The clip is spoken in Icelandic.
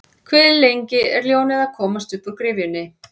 Hve lengi er ljónið að komast uppúr gryfjunni?